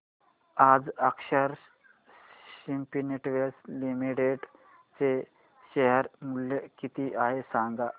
आज Akshar Spintex limited चे share मूल्य किती आहे सांगा